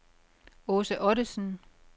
Aase Ottesen